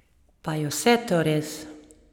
Pa je vse to res?